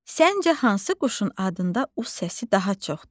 Səncə hansı quşun adında U səsi daha çoxdur?